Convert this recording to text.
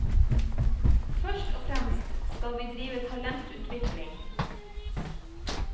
Først og fremst skal vi drive talentutvikling.